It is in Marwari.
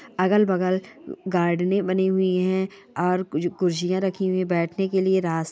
अगल बगल गार्डने बनी हुई हैऔर कुछ कुर्सियाँ रखी हुई है बैठने के लिए रास्ते--